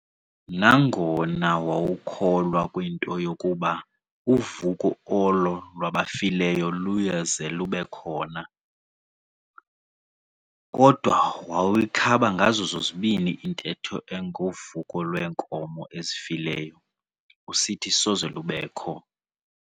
Nangona wawukholwa kwinto yokuba uvuko olo lwabafileyo luyaze lubekhona, kodwa wawuyikhaba ngazo zombini intetho engovuko lweenkomo ezifileyo, usithi soze lubekho.